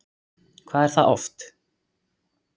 Hvað er það oft?